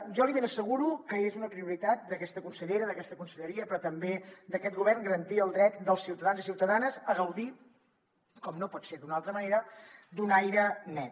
jo li ben asseguro que és una prioritat d’aquesta consellera d’aquesta conselleria però també d’aquest govern garantir el dret dels ciutadans i ciutadanes a gaudir com no pot ser d’una altra manera d’un aire net